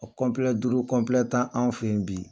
O kɔnpilɛ duuru kɔnpilɛ tan anw fɛ yen bi